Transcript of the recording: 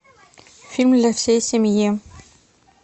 фильм для всей семьи